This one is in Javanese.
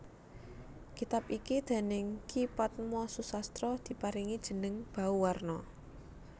Kitab iki déning Ki Padma Susastra diparingi jeneng Bauwarna